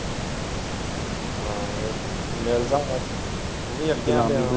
ਹਾਂ ਮਿਲਦਾ ਵਾ ਤੂੰ ਵੀ ਅੱਗੇ ਆਣ ਦਿਆ।